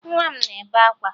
Nwa m na-ebe akwa